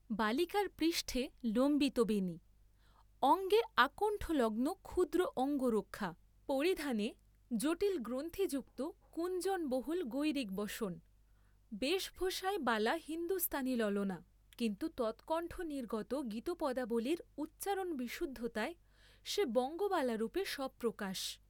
বালিকার পৃষ্ঠে লম্বিত বেণী, অঙ্গে আকণ্ঠলগ্ন ক্ষুদ্র অঙ্গরক্ষা, পরিধানে জটিল গ্রন্থিযুক্ত কুঞ্চনবহুল গৈরিকবসন; বেশভূষায় বালা হিন্দুস্থানী ললনা; কিন্তু তৎকণ্ঠনির্গত গীতপদাবলীর উচ্চারণবিশুদ্ধতায় সে বঙ্গবালারূপে স্বপ্রকাশ।